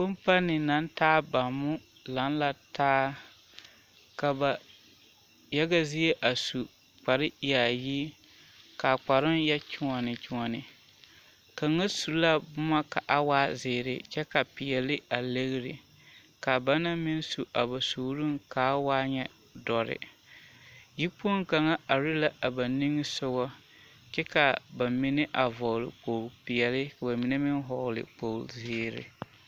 Kɔmpani naŋ taa bommo laŋ la taa ka ba yaga zie a su kpare yaayi kaa kparoŋ yɛ kyoɔne kyoɔne kaŋa su la boma ka a waa zeere kyɛ ka peɛle a legri kaa ba naŋ meŋ a ba suurooŋ kaa waa nyɛ dɔre yi kpoŋ kaŋa are la a ba nimisugɔ kyɛ ka ba mine a vɔgle kpogle peɛle ka ba mine meŋ vɔgle kpogle zeere.